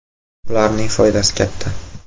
Ularning foydasi katta.